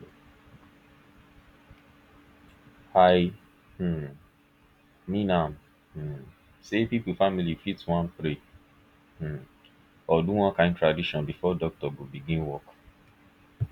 i um mean am um say people family fit wan pray um or do one kin tradition before doctor go begin work